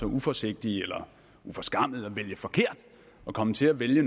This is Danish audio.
uforsigtige eller uforskammede at vælge forkert at komme til at vælge